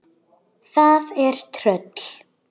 Það er tröll.